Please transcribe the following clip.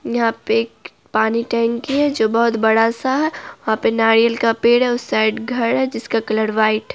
यहाँ पे एक पानी टंकी है जो बहुत बड़ा-सा है वहां पर नारियल का पेड़ है उस साइड घर है जिसका कलर व्हाइट --